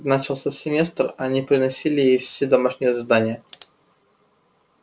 начался семестр они приносили ей все домашние задания